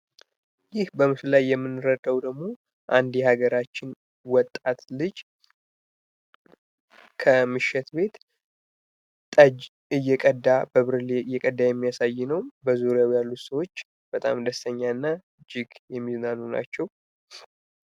ይህ በምስሉ ላይ የምንረዳው ደግሞ አንድ የሀገራችን ወጣት ልጅ ከምሽት ቤት ጠጅ እየቀዳ በብርሌ እየቀዳ የሚያሳይ ነው በዙሪያው ያሉ ሰዎች በጣም ደስተኛ እና እጅግ የሚዝናኑ ናቸው ።